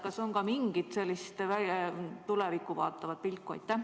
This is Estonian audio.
Kas on mingit sellist tulevikku vaatavat pilku?